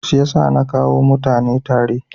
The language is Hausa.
Siyasa na kawo mutane tare.